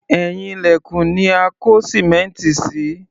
Ẹ̀yìn ilẹ̀kùn ni a kó sìmẹ́ǹtì sí